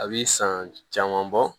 A bi san caman bɔ